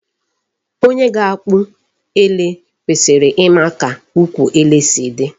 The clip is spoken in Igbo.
Onye ga-akpụ ele kwesịrị ịma ka ụkwụ ele si dị.